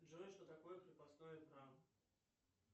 джой что такое крепостное право